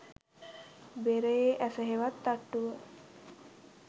බෙරයේ ඇස හෙවත් තට්ටුව